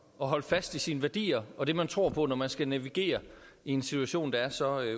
at holde fast i sine værdier og det man tror på når man skal navigere i en situation der er så